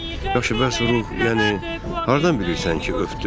Yaxşı, bəs ruh, yəni hardan bilirsən ki, öpdü?